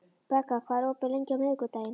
Begga, hvað er opið lengi á miðvikudaginn?